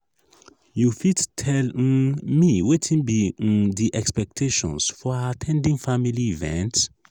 you fit tell um me wetin be um di expectations for at ten ding family events?